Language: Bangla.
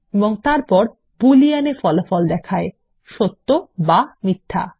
এবং তারপর বুলিয়ান এ ফলাফল দেখায় সত্য বা মিথ্যা